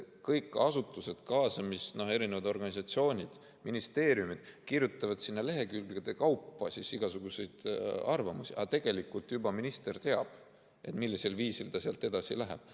Kõik kaasatavad asutused, organisatsioonid, ministeeriumid kirjutavad sinna lehekülgede kaupa igasuguseid arvamusi, aga tegelikult juba minister teab, millisel viisil ta sealt edasi läheb.